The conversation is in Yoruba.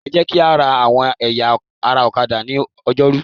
Ẹ jẹ́ kí á ra àwọn ẹ̀yà ara ọ̀kadà ní Ọjọ́rú.